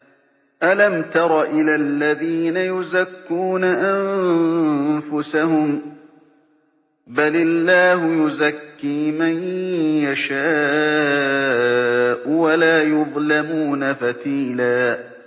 أَلَمْ تَرَ إِلَى الَّذِينَ يُزَكُّونَ أَنفُسَهُم ۚ بَلِ اللَّهُ يُزَكِّي مَن يَشَاءُ وَلَا يُظْلَمُونَ فَتِيلًا